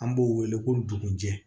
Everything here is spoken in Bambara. An b'o wele ko dugu jɛ